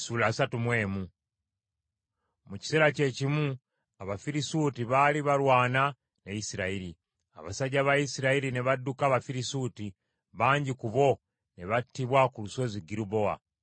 Mu kiseera kyekimu Abafirisuuti baali balwana ne Isirayiri. Abasajja ba Isirayiri ne badduka Abafirisuuti, bangi ku bo ne battibwa ku Lusozi Girubowa.